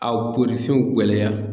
A bolisɛnw gɛlɛya.